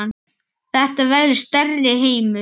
Þetta verður stærri heimur.